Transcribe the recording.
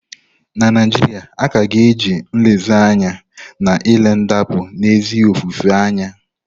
Na Naijiria, a ka ga-eji nlezianya na-ele ndapụ n'ezi ofufe anya.